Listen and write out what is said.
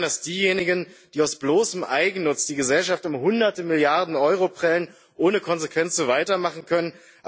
Sie erklären, dass diejenigen, die aus bloßem Eigennutz die Gesellschaft um hunderte Milliarden Euro prellen, ohne Konsequenz so weitermachen können.